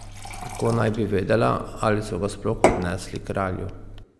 Kako naj bi vedela, ali so ga sploh odnesli kralju?